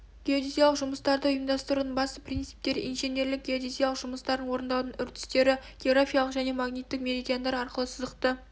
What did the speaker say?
геодезиялық жұмыстарды ұйымдастырудың басты принциптері инженерлік геодезиялық жұмыстарын орындаудың үрдістері географиялық және магниттік меридиандар арқылы сызықты